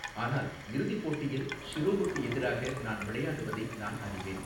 ஆனால் இறுதிப் போட்டியில் ஷிரோவுக்கு எதிராக நான் விளையாடுவதை நான் அறிவேன்.